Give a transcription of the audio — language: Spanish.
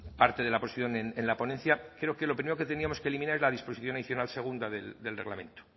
parte de la posición en la ponencia creo que lo primero que tendríamos que eliminar es la disposición adicional segunda del reglamento